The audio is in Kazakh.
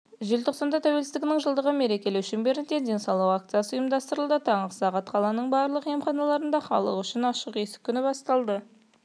желтоқсанда тәуелсіздігінің жылдығын мерекелеу шеңберінде денсаулық акциясы ұйымдастырылады таңғы сағат қаланың барлық емханаларында халық үшін ашық есік күні басталады